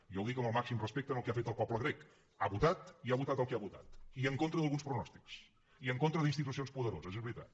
i jo ho dic amb el màxim respecte al que ha fet el poble grec ha votat i ha votat el que ha votat i en contra d’alguns pronòstics i en contra d’institucions poderoses és veritat